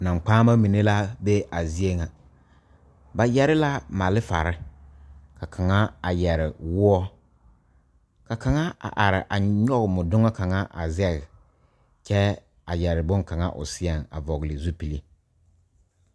Naŋkpaanema mine la be a zie ŋa ba yɛre la malfare ka kaŋa a yɛre woɔ ka kaŋa a are a nyɔge mɔdoŋa kaŋa a zeŋe kyɛ a yɛre boŋkaŋa o seɛ a vɔgle zupele